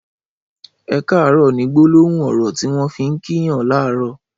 ''Ẹ kàárọ̀'' ni gbólóhùn ọrọ tiwọn fi n kí yàn làárọ̀